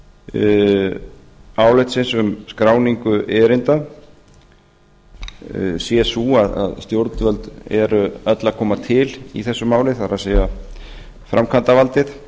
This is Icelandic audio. meginniðurstöður álitsins um skráningu erinda séu þau að stjórnvöld séu öll að koma til í þessu máli það er framkvæmdarvaldið